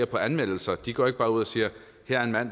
på anmeldelser de går ikke bare ud og siger her er en mand